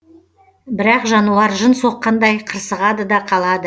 бірақ жануар жын соққандай қырсығады да қалады